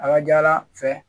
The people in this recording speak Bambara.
A ka ca ala fɛ